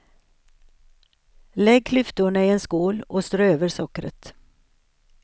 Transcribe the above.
Lägg klyftorna i en skål och strö över sockret.